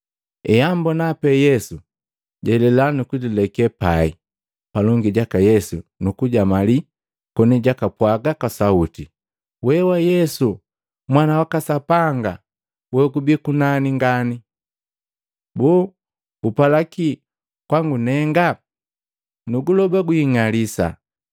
Eambona pe Yesu, jalela nuku jileke pai palongi jaka Yesu nukujamali koni jakapwaga kwa sauti, “We wa Yesu Mwana waka Sapanga Wogubii Kunani Ngani! Boo gupala ki kwangu nenga? Nuguloba, gwing'alisa!”